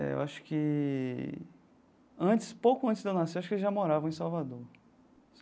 É eu acho que, antes pouco antes de eu nascer, acho que eles já moravam em Salvador.